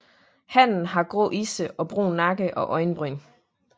Hannen har grå isse og brun nakke og øjenbryn